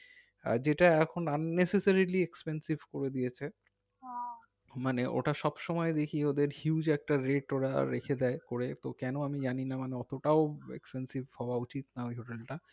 আহ যেটা এখন আমি necessarily expensive করে দিয়েছে মানে ওটা সবসময় দেখি ওদের huge একটা rate ওরা রেখে দেয় করে তো কেন আমি জানি না মানে অতোটাও expensive হওয়া উচিত না ওই hotel টা